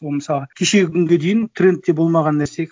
ол мысалға кешегі күнге дейін трендте болмаған нәрсе